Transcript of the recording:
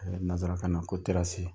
Nanzara kan na ko terasi.